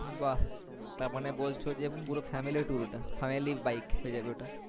বাহ তারমানে বলছো যে পুরো family-tour ওটা family-bike হয়ে যাবে ওটা